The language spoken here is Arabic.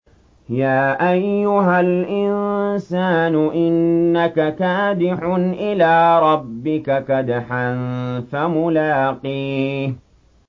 يَا أَيُّهَا الْإِنسَانُ إِنَّكَ كَادِحٌ إِلَىٰ رَبِّكَ كَدْحًا فَمُلَاقِيهِ